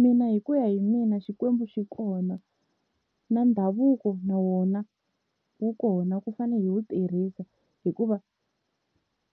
Mina hi ku ya hi mina Xikwembu xi kona, na ndhavuko na wona wu kona wu fane hi wu tirhisa, hikuva